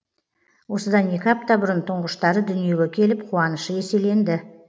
осыдан екі апта бұрын тұңғыштары дүниеге келіп қуанышы еселенді